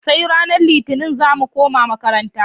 Sai ranar litinin zamu koma makaranta